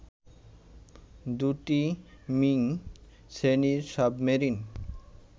দু’টি মিং শ্রেণীর সাবমেরিন